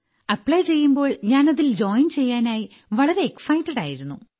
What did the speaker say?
apply ചെയ്യുമ്പോൾ ഞാൻ അതിൽ ജോയിൻ ചെയ്യാനായി വളരെ എക്സൈറ്റഡ് ആയിരുന്നു